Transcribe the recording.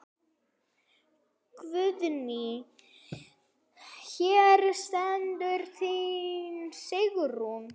Guðný: Hér stendur þín Sigrún?